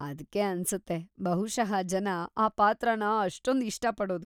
ಅದ್ಕೇ ಅನ್ಸುತ್ತೆ ಬಹುಶಃ ಜನ ಆ ಪಾತ್ರನ ಅಷ್ಟೊಂದ್ ಇಷ್ಟ ಪಡೋದು.